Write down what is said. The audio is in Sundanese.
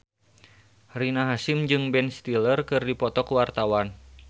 Rina Hasyim jeung Ben Stiller keur dipoto ku wartawan